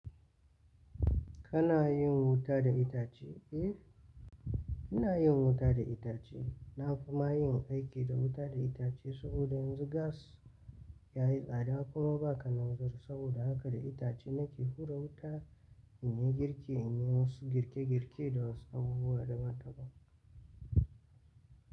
Kana yin wuta da itace? Eh, ina yin wuta da itace. Na fi ma yin aiki da wuta da itace saboda yanzu gas yayi tsada kuma ba kananzur. Saboda haka da itace nake hura wuta in yi girki, in yi wasu girke-girke da wasu abubuwa daban-daban.